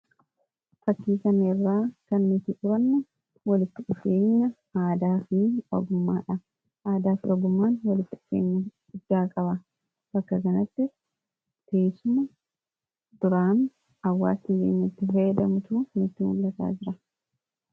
Kan asirratti argaa jirru walitti dhufeenya aadaa fi oogummaadha. Oogummaan fi aadaan kun faayidaa madaalamuu hin dandeenye fi bakka bu’iinsa hin qabne qaba. Jireenya guyyaa guyyaa keessatti ta’ee, karoora yeroo dheeraa milkeessuu keessatti gahee olaanaa taphata. Faayidaan isaa kallattii tokko qofaan osoo hin taane, karaalee garaa garaatiin ibsamuu danda'a.